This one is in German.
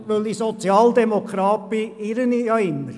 Da ich jedoch Sozialdemokrat bin, irre ich mich immer.